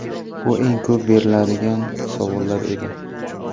Bu eng ko‘p beriladigan savollar edi.